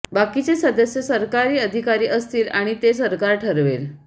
बाकीचे सदस्य सरकारी अिधकारी असतील आिण ते सरकार ठरवेल